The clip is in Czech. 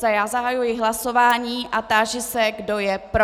Zahajuji hlasování a táži se, kdo je pro.